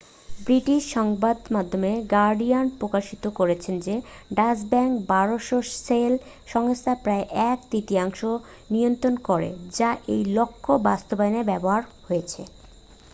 British সংবাদমাধ্যম Guardian প্রকাশিত করেছে যে ডাচ ব্যাঙ্ক 1200 শেল সংস্থার প্রায় এক তৃতীয়াংশ নিয়ন্ত্রণ করে যা এই লক্ষ্য বাস্তবায়নে ব্যবহার হয়েছে